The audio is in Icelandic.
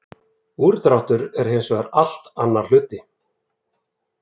Úrdráttur er hins vegar allt annar hlutur.